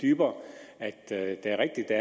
dybere at det er rigtigt at